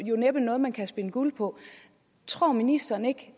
næppe noget man kan spinde guld på tror ministeren ikke